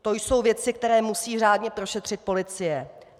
To jsou věci, které musí řádně prošetřit policie.